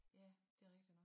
Ja det rigtig nok